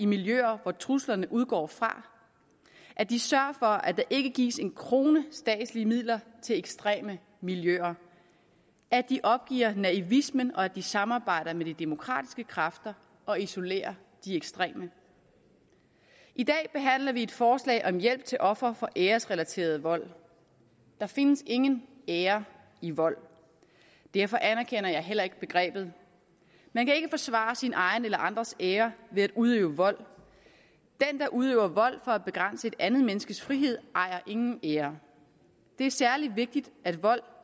miljøer hvor truslerne udgår fra at de sørger for at der ikke gives en krone statslige midler til ekstreme miljøer at de opgiver naivismen og at de samarbejder med de demokratiske kræfter og isolerer de ekstreme i dag behandler vi et forslag om hjælp til ofre for æresrelateret vold der findes ingen ære i vold derfor anerkender jeg heller ikke begrebet man kan ikke forsvare sin egen eller andres ære ved at udøve vold den der udøver vold for at begrænse et andet menneskes frihed ejer ingen ære det er særlig vigtigt at vold